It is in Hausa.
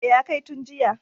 E, ya kai tun jiya.